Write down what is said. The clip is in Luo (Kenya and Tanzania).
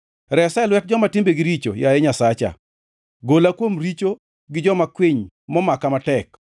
Resa e lwet joma timbegi richo, yaye Nyasacha, gola kuom richo gi joma kwiny momaka matek.